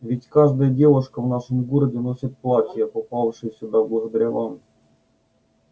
ведь каждая девушка в нашем городе носит платья попавшие сюда благодаря вам